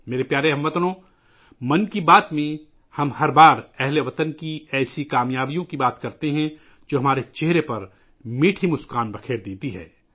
میرے پیارے ہم وطنو،'من کی بات 'میں ، ہم ہر مرتبہ ہم وطنوں کی ایسی کامیابیوں پر گفتگو کرتے ہیں ، جو ہمارے چہروں پر میٹھی مسکراہٹ لاتی ہیں